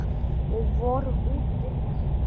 Við vorum úti í